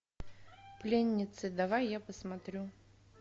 пленницы давай я посмотрю